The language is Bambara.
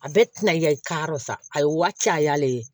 A bɛɛ tɛna yɛ ka yɔrɔ sa a ye waaca y'ale ye